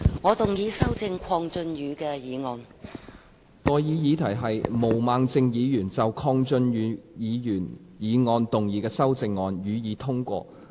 我現在向各位提出的待議議題是：毛孟靜議員就鄺俊宇議員議案動議的修正案，予以通過。